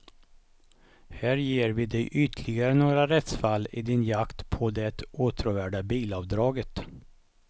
Här ger vi dig ytterligare några rättsfall i din jakt på det åtråvärda bilavdraget.